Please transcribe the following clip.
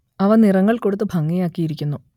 അവ നിറങ്ങൾ കൊടുത്ത് ഭംഗിയാക്കിയിരിക്കുന്നു